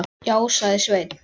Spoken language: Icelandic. Já, sagði Sveinn.